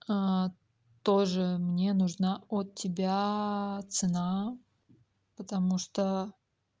тоже мне нужно от тебя цена потому что